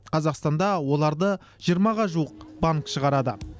қазақстанда оларды жиырмаға жуық банк шығарады